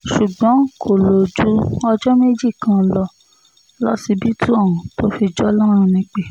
ṣùgbọ́n kò lò ju ọjọ́ méjì kan lọ lọsibítù ohun tó fi jọlọ́run nípẹ́